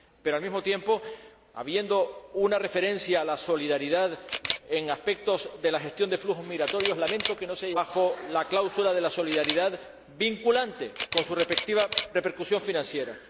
Pero, al mismo tiempo, habiendo una referencia a la solidaridad en aspectos de la gestión de flujos migratorios, lamento que no se haya hecho bajo la cláusula de la solidaridad vinculante con su respectiva repercusión financiera.